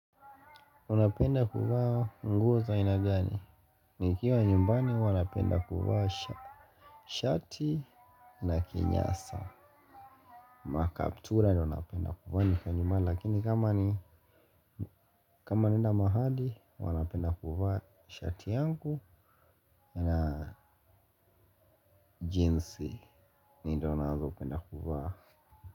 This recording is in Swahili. Unapenda kuva nguo za ainagani. Nikiwa nyumbani huwa napenda kuva shati na kinyasa makaptura ndio napenda kuvaa nikiwa nyumbani. Lakini kama ni kama naenda mahali huwa napenda kuvaa shati yangu na jeans. Ni ndo nazo penda kuvaa.